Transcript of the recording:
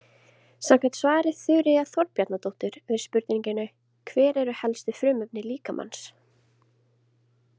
Samkvæmt svari Þuríðar Þorbjarnardóttur við spurningunni Hver eru helstu frumefni líkamans?